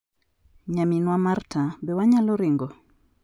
Nyaminwa Marta, be wanyalo ringo?'"